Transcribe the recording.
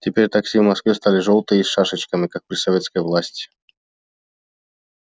теперь такси в москве стали жёлтые и с шашечками как при советской власти